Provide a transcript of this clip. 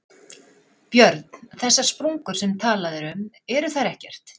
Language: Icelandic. Björn: Þessar sprungur sem talað er um, eru þær ekkert?